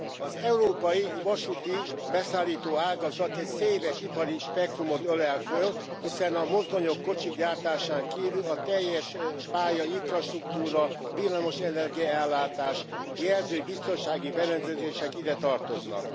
Az európai vasúti beszállító ágazat egy széles ipari spektrumot ölel föl, hiszen a mozdonyok, kocsik gyártásán kívül a teljes pályainfrastruktúra, villamosenergia ellátás, jelző és biztonsági berendezések ide tartoznak.